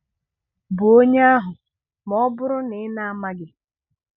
bụ onye ahụ, ma ọ bụrụ na ị̀ na-amaghị.